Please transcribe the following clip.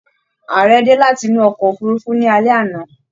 Ààrẹ dé láti inú ọkọ òfurùnfu ni alé àná